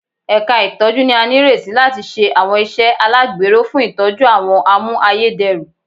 Ẹ̀ka ìtọ́jú ni a nírètí láti ṣe àwọn iṣẹ́ alagbero fún ìtọ́jú àwọn a mú ayédèrú